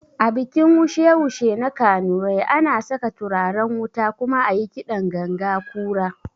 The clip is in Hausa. A bikin wushe wushe na kanurai, ana saka turaren wuta kuma ayi kiɗan ganga kura